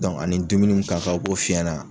ani dumuni mun ka kan o b'o f'i ɲɛna.